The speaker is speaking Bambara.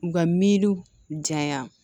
U ka miiriw janya